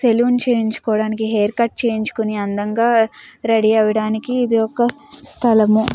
Salon చేపియించడానికి haircut చేయించుకొని అందం గ రెడీ అవడానికి ఇది ఒక సలాం.